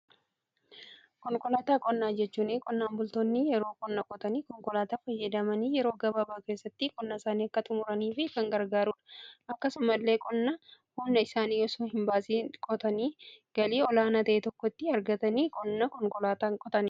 konqolaataa qonnaa jechuun qonnaan bultoonni yeroo qonna qotan konkolaataa fayyadamanii yeroo gababaa keessatti qonnaa isaanii akka xumuranii fi kan gargaaruudha. akkasumas qonna humna isaanii osoo hin baasiin qotanii galii olaanaa ta'e tokko argachuf qonna konkolaataa fayyadamu.